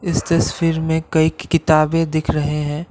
इस तस्वीर में कइ किताबे दिख रहे हैं।